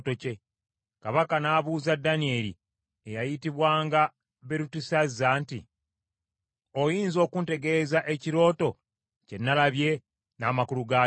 Kabaka n’abuuza Danyeri eyayitibwanga Berutesazza nti, “Oyinza okuntegeeza ekirooto kye nalabye, n’amakulu gaakyo?”